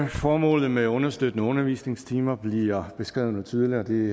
formålet med understøttende undervisningstimer bliver beskrevet noget tydeligere og det